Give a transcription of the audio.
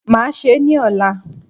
Màá se ní òla